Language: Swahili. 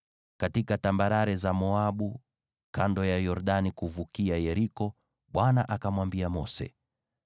Katika tambarare za Moabu kando ya Yordani kuvukia Yeriko, Bwana akamwambia Mose,